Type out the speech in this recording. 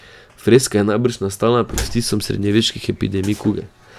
Freska je najbrž nastala pod vtisom srednjeveških epidemij kuge.